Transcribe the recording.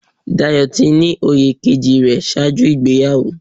Dayọ̀ ti ní oyè kejì rẹ̀ ṣáájú ìgbéyàwó.